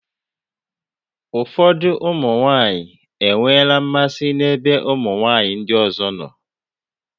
Ụfọdụ ụmụ nwaanyị enweela mmasị n'ebe ụmụ nwaanyị ndị ọzọ nọ.